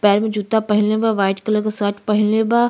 पैर में जूता पहिनले बा व्हाइट कलर के शर्ट पहिन ले बा।